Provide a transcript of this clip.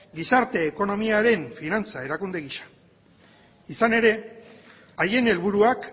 gizarte ekonomiaren finantza erakunde gisa izan ere haien helburuak